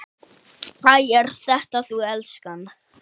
Æ, ert þetta þú elskan?